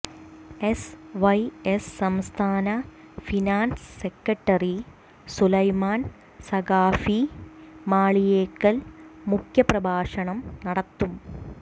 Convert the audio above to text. S Y S സംസ്ഥാന finance secretary Sulaiman Saqafi Maliyekkal മുഖ്യപ്രഭാഷണം നടത്തും